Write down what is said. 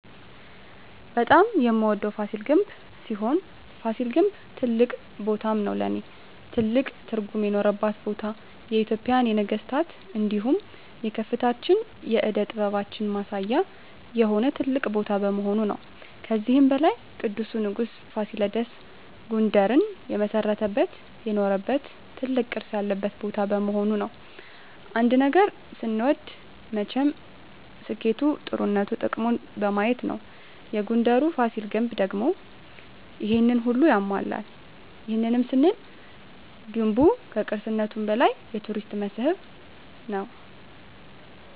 በጣም የምወደዉ ፋሲል ግንብ ሲሆን ፋሲል ግን ትልቅ ቦታም ነዉ ለእኔ ትልቅ ትርጉም የኖረባት ቦታ የኢትጵያን የነገስታት እንዲሁም የከፍታችን የእደ ጥበባችን ማሳያ የሆነ ትልቅ ቦታ በመሆኑ ነዉ። ከዚህም በላይ ቅዱሱ ንጉስ ፋሲለደስ ጉንደርን የመሰረተበት የኖረበት ትልቅ ቅርስ ያለበት ቦታ በመሆኑ ነዉ። አንድ ነገር ስንወድ መቸም ስኬቱ ጥሩነቱ ጥቅሙን በማየት ነዉ የጉንደሩ ፋሲል ግንብ ደግሞ ይሄንን ሁሉ ያሟላል ይህንንም ስንል ገንቡ ከቅርስነቱም በላይ የቱሪስት መስህብ ነዉ።